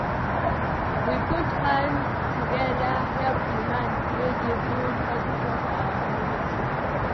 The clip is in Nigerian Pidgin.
We put hands together help di man wey dey build hospital for our community.